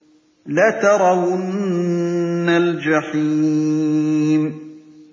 لَتَرَوُنَّ الْجَحِيمَ